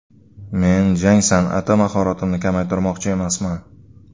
Men jang san’ati mahoratimni kamaytirmoqchi emasman.